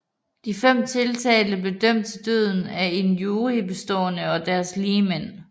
De fem tiltalte blev dømt til døden af en jury bestående af deres ligemænd